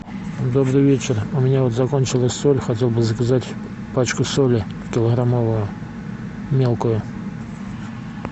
добрый вечер у меня вот закончилась соль хотел бы заказать пачку соли килограммовую мелкую